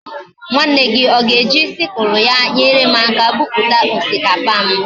Nwanne gi oga eji sickle ya enyerem aka buputa osikapa m?